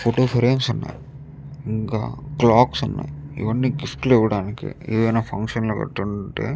Photo frames ఉన్నాయి. ఇంకా క్లాకులు ఉన్నాయి. ఇవన్నీ గిఫ్ట్లు ఇవ్వడానికి ఏదైనా ఫంక్షన్ లు గట్రా ఉంటే --